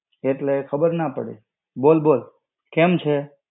એટલે ખબર ના પડી. બોલ-બોલ. કેમ છે?